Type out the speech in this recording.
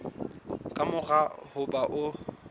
ka mora ho ba o